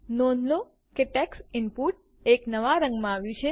નોંધ લો કે ટેક્સ્ટ ઇનપુટ એક નવા રંગમાં આવ્યું છે